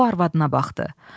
O arvadına baxdı.